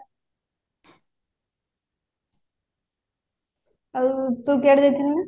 ଆଉ ତୁ ଯାଇଥିଲୁ ନାଁ